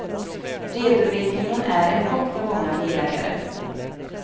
Redovisningen är en chock för många bilägare.